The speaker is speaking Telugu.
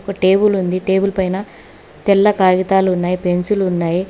ఒక టేబులుంది టేబుల్ పైన తెల్ల కాగితాలు ఉన్నాయ్ పెన్సిలు ఉన్నాయి.